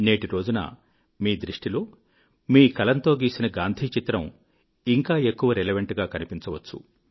నేటి రోజున మీ దృష్టిలో మీ కలంతో గీసిన గాంధీ చిత్రం ఇంకా ఎక్కువ రెలెవెంట్ గా కనిపించవచ్చు